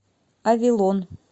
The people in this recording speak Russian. авилон